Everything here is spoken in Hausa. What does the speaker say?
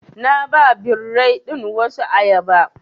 Na ba birrai ɗin wasu ayaba.